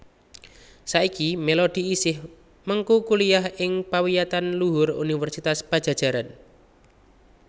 Saiki Melody isih mengku kuliah ing pawiyatan luhur Universitas Padjadjaran